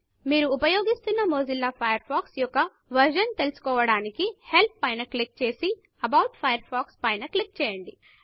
మీరు ఉపయోగిస్తున్న Mozilla Firefox యొక్క వెర్షన్ తెలుసుకోవడానికి Helpహెల్ప్ పైన క్లిక్ చేసి about Firefox about Firefox పైన క్లిక్ చేయండి